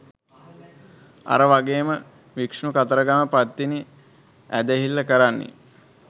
අර වගේම විෂ්ණු කතරගම පත්තිනි ඇදහිල්ල කරන්නේ